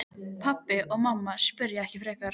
Gegn þessum fleygu vörgum voru næstum engin ráð.